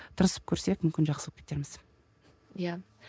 тырысып көрсек мүмкін жақсы болып кетерміз иә